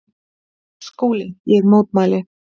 SKÚLI: Ég mótmæli!